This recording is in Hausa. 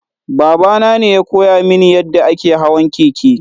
Baba nane ya koya mini yadda ake hawan keke.